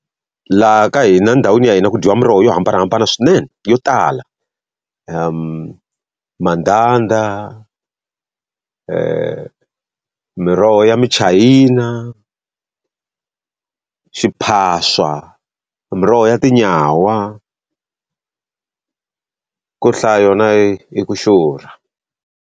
Laha ka hina endhawini ya hina ku dyiwa miroho yo hambanahambana swinene yo tala. mandanda, miroho ya michayina, xiphaswa, miroho ya tinyawa ku hlaya yona i ku xurha.